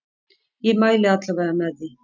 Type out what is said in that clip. Ég mæli alla vega með því.